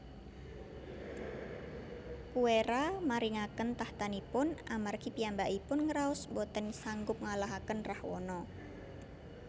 Kuwera maringaken tahtanipun amargi piyambakipun ngraos boten sanggup ngalahaken Rahwana